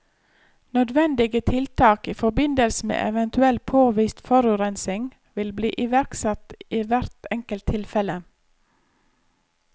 Nødvendige tiltak i forbindelse med eventuell påvist forurensning vil bli iverksatt i hvert enkelt tilfelle.